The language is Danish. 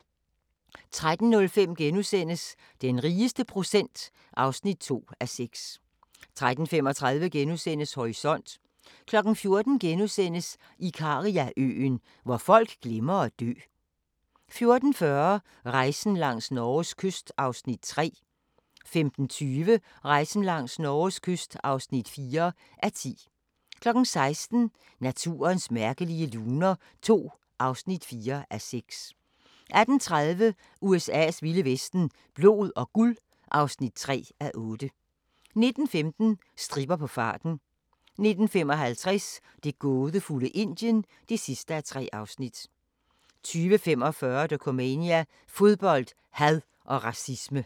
13:05: Den rigeste procent (2:6)* 13:35: Horisont * 14:00: Ikariaøen – hvor folk glemmer at dø * 14:40: Rejsen langs Norges kyst (3:10) 15:20: Rejsen langs Norges kyst (4:10) 16:00: Naturens mærkelige luner II (4:6) 18:30: USA's vilde vesten: Blod og guld (3:8) 19:15: Stripper på farten 19:55: Det gådefulde Indien (3:3) 20:45: Dokumania: Fodbold, had og racisme